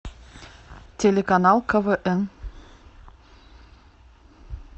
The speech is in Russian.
телеканал квн